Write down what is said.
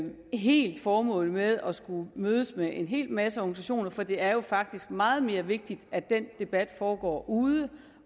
helt se formålet med at skulle mødes med en hel masse organisationer for det er faktisk meget mere vigtigt at den debat foregår ude